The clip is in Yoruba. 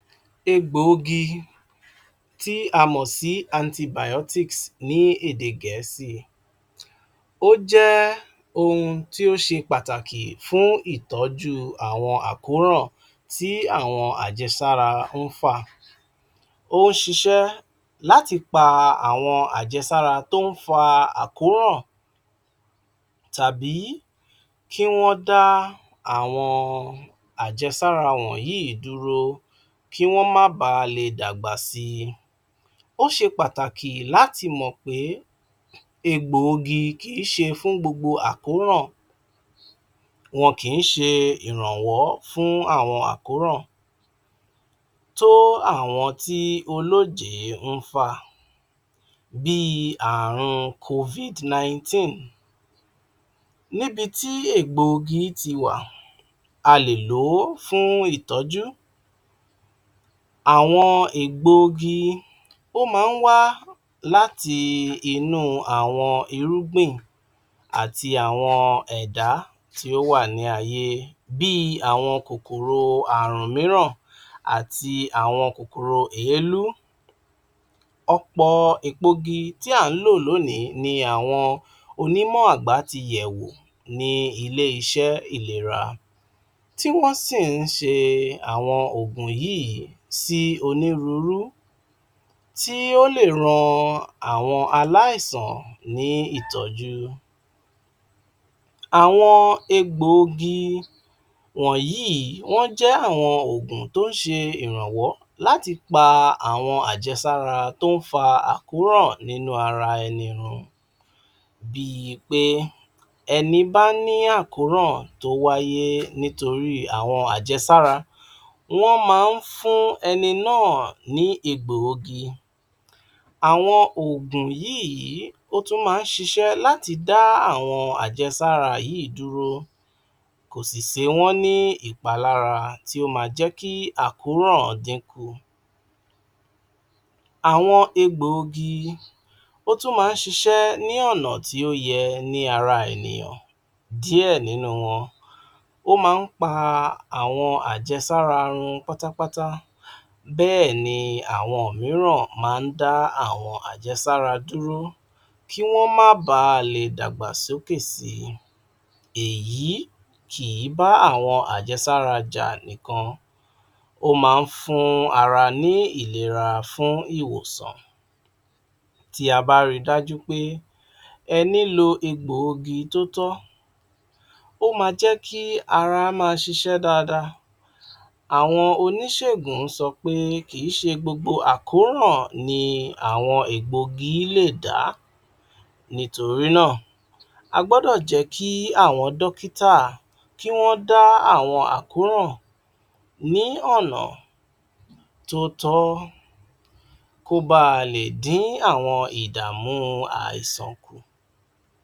Egbòogi tí a mọ̀ sí antibiotics ní èdè Gẹ̀ẹ́sì ó jẹ́ ohun tí ó ṣe pàtàkì fún ìtọ́jú àwọn àkóràn tí àwọn àjẹsára ń fà. Ó ń ṣiṣẹ́ láti pa àwọn àjẹsára tó ń fa àkóhàn tàbí kí wọ́n dá àwọn àjẹsára wọ̀nyíìí dúró kí wọ́n má bàá le dàgbà sii. Ó ṣe pàtàkì láti mọ̀ pé egbòogi kì í ṣe fún gbogbo àkóhàn, wọ́n kì ń ṣe ìrànwọ́ fún àwọn àwọn àkóràn tó àwọn tí olójèé ń fà, bíi àrùn COVID nineteen, níbi tí ègboogi ti wà, a lè lò ó fún ìtọ́jú. Àwọn ègboogi, ó máa ń wá láti inú àwọn irúgbìn àti àwọn ẹ̀dá tí ó wà ní ayé bíi àwọn kòkòrò àrùn mìíràn àti àwọn kòkòrò èélú. Ọ̀pọ̀ èpoogi tí à ń lò lónìí ni àwọn onímọ̀ àgbà ti yẹ̀ wò ní ilé-iṣẹ́ ìlera, tí wọ́n sì ń ṣe àwọn òògùn yíìí sí onírúurú tí ó lè ran àwọn aláìsàn ní ìtọ́jú. Àwọn ègboogi wọ̀nyíìí, wọ́n jẹ́ àwọn òògùn tó ń ṣe ìrànwọ́ láti pa àwọn àjẹsára tó ń fa àkóràn nínú ara ẹni run bíi pé ẹni bá ní àkóràn tó wáyé nítorí àwọn àjẹsára, wọ́n máa ń fún ẹni náà ní egbòogi. Àwọn òògùn yíìí, ó tún máa ń ṣiṣẹ́ láti dá àwọn àjẹsára yíìí dúró, ko sì se wọ́n ní ìpalára tí ó máa jẹ́ kí àkóràn dín kù. Àwọn egbòogi ó tún máa ń ṣiṣẹ́ ní ọ̀nà tí ó yẹ ní ara ènìyàn. Díẹ̀ nínú wọn ó máa ń pa àwọn àjẹsára run pátápátá, bẹ́ẹ̀ni àwọn mìíràn máa dá àwọn àjẹsára dúró kí wọ́n má baà lè dàgbà sókè sii. Èyí kì í bá àwọn àjẹsára jà nìkan, ó máa ń fún ará ní ìlera fún ìwòsàn. Tí a bá ri dájú pé ẹni lo egbòogi tó tọ́, ó máa jẹ́ kí ará máa ṣiṣẹ́ dáada. Àwọn oníṣègùn sọ pé kì í ṣe gbogbo àkóràn ni àwọn ègboogi lè dá. Nítorí náà, a gbọ́dọ̀ jẹ́ kí àwọn dọ́kítà, kí wọ́n dá àwọn àkóràn ní ọ̀nà tó tọ́ kó baà lè dín àwọn ìdààmú àìsàn kù.